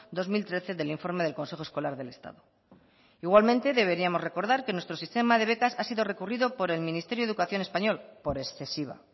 dos mil trece del informe del consejo escolar del estado igualmente deberíamos recordar que nuestro sistema de becas ha sido recurrido por el ministerio de educación español por excesiva